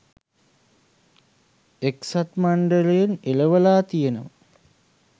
එක්සත් මණ්ඩලයෙන් එළවලා තියෙනවා.